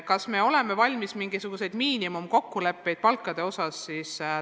Kas me oleme valmis sõlmima mingisuguseid miinimumkokkuleppeid palkade osas?